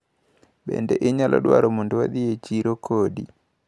Bende inyalo dwaro mondo wadhi e chiro kodi?